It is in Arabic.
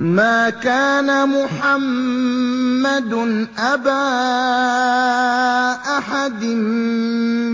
مَّا كَانَ مُحَمَّدٌ أَبَا أَحَدٍ